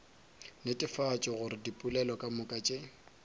netefatša gore dipoelo kamoka tše